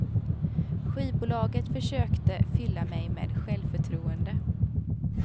Skivbolaget försökte fylla mig med självförtroende.